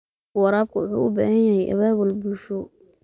Waraabka waxa uu u baahan yahay abaabul bulsho.